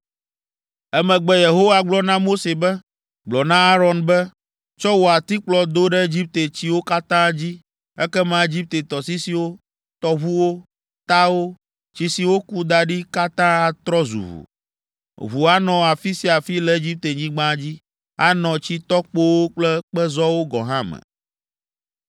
Emegbe Yehowa gblɔ na Mose be, “Gblɔ na Aron be, ‘Tsɔ wò atikplɔ do ɖe Egipte tsiwo katã dzi ekema Egipte tɔsisiwo, tɔʋuwo, tawo, tsi si woku da ɖi katã atrɔ zu ʋu! Ʋu anɔ afi sia afi le Egiptenyigba dzi, anɔ tsitɔkpowo kple kpezɔwo gɔ̃ hã me.’ ”